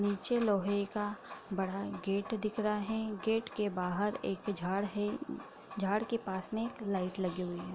नीचे लोहे का बड़ा गेट दिख रहा है गेट के बाहर एक झाड़ है झाड़ के पास में एक लाइट लगी हुई है।